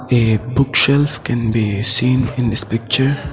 A book shelf can be seen in this picture.